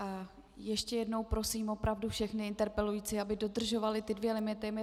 A ještě jednou prosím opravdu všechny interpelující, aby dodržovali ty dva limity.